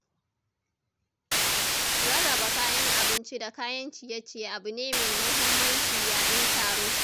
Rarraba kayan abinci da kayan ciye-ciye abu ne mai muhimmanci yayin taro.